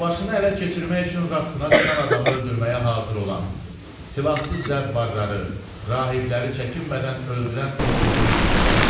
Plajını ələ keçirmək üçün rastına çıxan adamı öldürməyə hazır olan, silahsız zəvvarları, rahibləri çəkinmədən öldürən o qulduru deyirsiz?